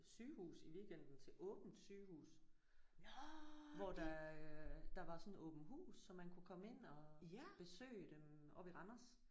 Sygehus i weekenden til åbent sygehus hvor der øh der var sådan åbent hus så man kunne komme ind og besøge dem oppe i Randers